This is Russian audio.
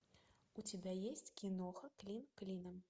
у тебя есть киноха клин клином